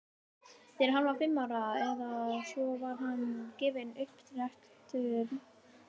þegar hann var fimm ára eða svo var honum gefinn upptrekktur bíll